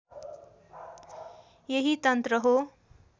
यही तन्त्र हो